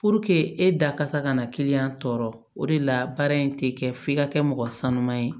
e da kasa kana kiliyan tɔɔrɔ o de la baara in tɛ kɛ f'i ka kɛ mɔgɔ sanuman ye